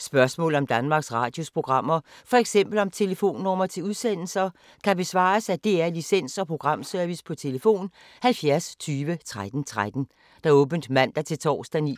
Spørgsmål om Danmarks Radios programmer, f.eks. om telefonnumre til udsendelser, kan besvares af DR Licens- og Programservice: tlf. 70 20 13 13, åbent mandag-torsdag 9.00-16.30,